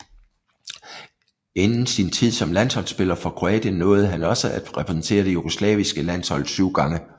Inden sin tid som landsholdsspiller for Kroatien nåede han også at repræsentere det jugoslaviske landshold syv gange